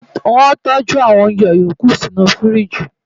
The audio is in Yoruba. wọ́n tọ́jú àwọn oúnjẹ yòókù sínú u fíríjì